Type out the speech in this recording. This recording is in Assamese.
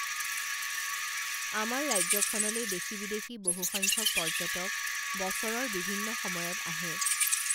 আমাৰ ৰাজ্যখনলে দেশী বিদেশী বহুসংখ্যক পৰ্যটক বছৰৰ বিভিন্ন সময়ত আহে